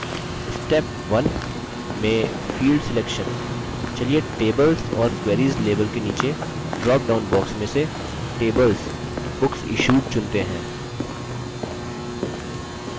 step 1 में field selection चलिए tables or queries label के नीचे drop down box में से tables: booksissued चुनते हैं